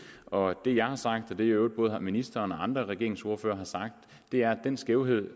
og det jeg har sagt og det i øvrigt både ministeren og andre regeringsordførere har sagt er at den skævhed